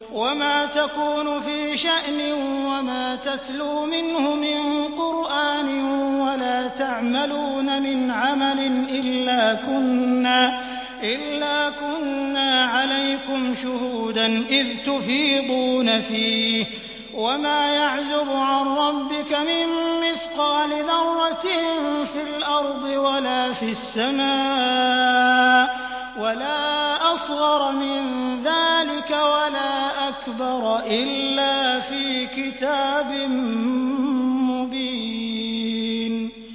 وَمَا تَكُونُ فِي شَأْنٍ وَمَا تَتْلُو مِنْهُ مِن قُرْآنٍ وَلَا تَعْمَلُونَ مِنْ عَمَلٍ إِلَّا كُنَّا عَلَيْكُمْ شُهُودًا إِذْ تُفِيضُونَ فِيهِ ۚ وَمَا يَعْزُبُ عَن رَّبِّكَ مِن مِّثْقَالِ ذَرَّةٍ فِي الْأَرْضِ وَلَا فِي السَّمَاءِ وَلَا أَصْغَرَ مِن ذَٰلِكَ وَلَا أَكْبَرَ إِلَّا فِي كِتَابٍ مُّبِينٍ